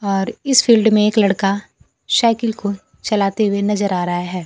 और इस फिल्ड में एक लड़का साइकिल को चलाते हुए नजर आ रहा है।